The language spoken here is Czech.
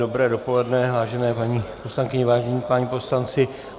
Dobré dopoledne, vážené paní poslankyně, vážení páni poslanci.